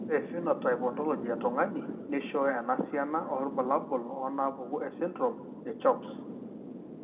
Ore ephenotype ontology etung'ani neishooyo enasiana oorbulabul onaapuku esindirom eCHOPS.